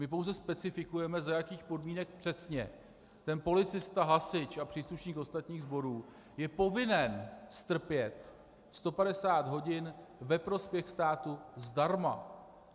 My pouze specifikujeme, za jakých podmínek přesně ten policista, hasič a příslušník ostatních sborů je povinen strpět 150 hodin ve prospěch státu zdarma.